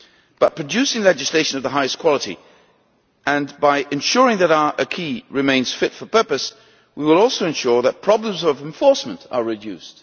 By producing legislation of the highest quality and by ensuring that our acquis remains fit for purpose, we will also ensure that problems of enforcement are reduced.